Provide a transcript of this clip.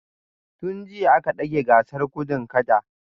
Tun jiya aka dage gasar gudun kada